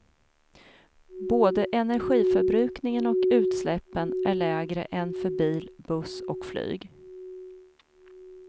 Både energiförbrukningen och utsläppen är lägre än för bil, buss och flyg.